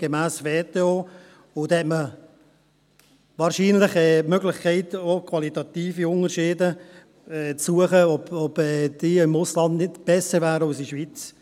Dann hat man wahrscheinlich auch die Möglichkeit, qualitative Unterschiede zu suchen – ob diese im Ausland nicht besser wären als in der Schweiz.